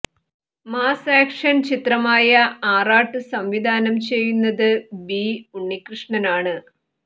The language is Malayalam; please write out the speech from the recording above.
മാസ് ആക്ഷൻ ചിത്രമായ ആറാട്ട് സംവിധാനം ചെയ്യുന്നത് ബി ഉണ്ണിക്കൃഷ്ണനാണ്